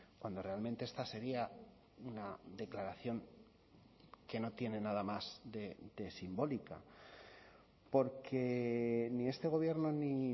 cuando realmente esta sería una declaración que no tiene nada más de simbólica porque ni este gobierno ni